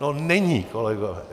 No není, kolegové.